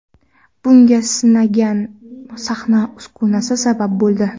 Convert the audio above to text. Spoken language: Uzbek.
Bunga singan sahna uskunasi sabab bo‘ldi.